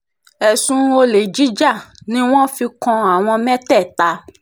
ẹ̀sùn olè jíjà ni wọ́n fi kan àwọn mẹ́tẹ̀ẹ̀ta